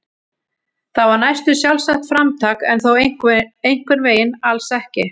Það var næstum sjálfsagt framtak en þó einhvern veginn alls ekki.